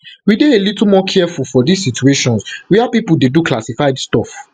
we dey a little more careful for dis situations wia pipo dey do classified stuff